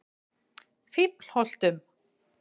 Fíflholtum